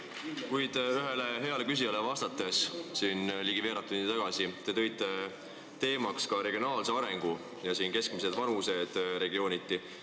Kuid ühele heale küsijale ligi veerand tundi tagasi vastates te mainisite regionaalse arengu aspekti ja elanikkonna keskmist vanust regiooniti.